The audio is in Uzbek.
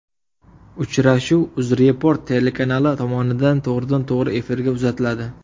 Uchrashuv UzReport telekanali tomonidan to‘g‘ridan to‘g‘ri efirda uzatiladi.